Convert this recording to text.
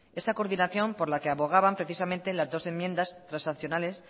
esa coordinación por la que abogaban precisamente las dos enmiendas transaccionales